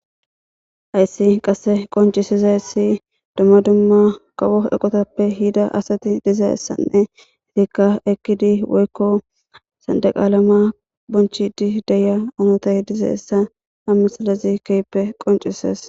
ayssi qasse qoncisizayssi dumma dumma kawo eqotappe hida asati dizassanne hitikka ekkidi woykko sandeqalama bonchidi deya onotay diza essa ha misalazi keyppe qoncises